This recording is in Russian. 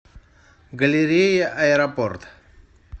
галерея аэропорт